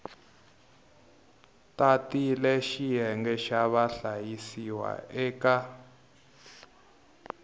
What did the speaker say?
tatile xiyenge xa vahlayisiwa eka